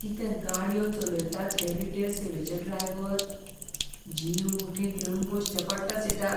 कितें गाडयो चलयतात हे रिटेल सेवेचे ड्रायव्हर. जीव मुठींत घेवन बसचें पडटा सीटार.